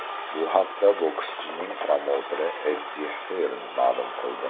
Bu haqda bokschining promouteri Eddi Hirn ma’lum qildi .